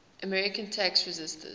american tax resisters